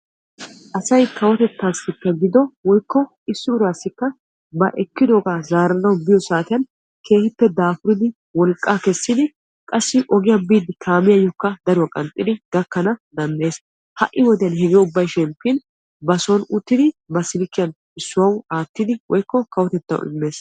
Asay kawotettasikka gido woykko issi urassika ba ekkidoba zaaranawu biyo saatiyan keehippe daafuridi wolqqa kessidi qassi ogiyaa biiddi kaamiyayokka daruwaa qanxxidi gakkana danddayees. Hai wodiyan hegee ubbay shemppin ba sooni uttidi ba silkiyan issuwawu aattidi kawotettawu immees.